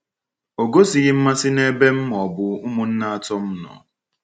Ọ gosighị mmasị n’ebe m ma ọ bụ ụmụnne atọ m nọ.